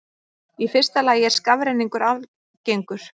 Í fyrsta lagi er skafrenningur algengur.